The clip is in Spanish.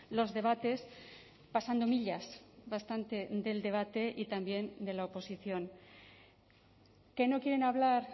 los debates pasando millas bastante del debate y también de la oposición que no quieren hablar